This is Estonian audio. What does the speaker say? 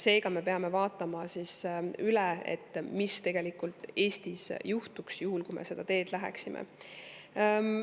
Seega me peame vaatama üle, mis tegelikult Eestis juhtuks, juhul kui me seda teed läheksime.